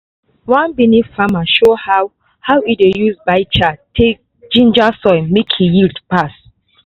one benue farmer show how how e dey use biochar take ginger soil make e yield pass.